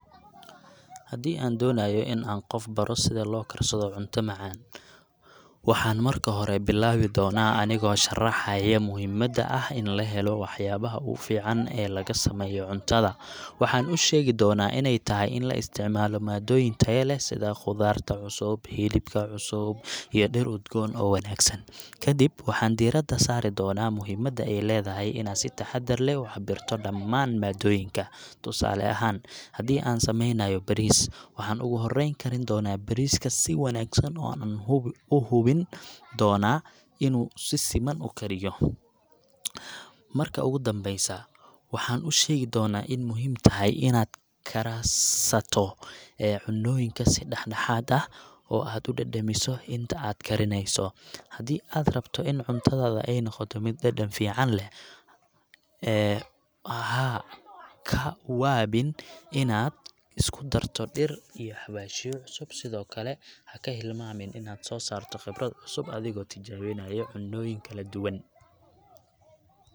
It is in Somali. Haddii aan doonayo inaan qof ku baro sida loo karsado cunto macaan, waxaan marka hore bilaabi doonaa anigoo sharraxaya muhiimadda ah in la helo waxyaabaha u fiican ee laga sameeyo cuntada. Waxaan u sheegi doonaa inay tahay in la isticmaalo maaddooyin taya leh sida khudaarta cusub, hilibka cusub, iyo dhir udgoon oo wanaagsan. Kadib, waxaan diiradda saari doonaa muhiimadda ay leedahay inaad si taxaddar leh u cabirto dhammaan maaddooyinka. Tusaale ahaan, haddii aan sameynayo bariis, waxaan ugu horreyn karin doonaa bariiska si wanaagsan oo aan u hubin doonaa inuu si siman u kariyo. Marka ugu dambeysa, waxaan u sheegi doonaa in muhiim tahay inaad karsato cunnooyinka si dhexdhexaad ah oo aad u dhadhamiso inta aad karinayso. Haddii aad rabto in cuntadaada ay noqoto mid dhadhan fiican leh, ee ha ka waabin inaad isku darto dhir iyo xawaashyo cusub, sidoo kale ha hilmaamin inaad soo saarto khibrad cusub adigoo tijaabinaya cunnooyin kala duwan.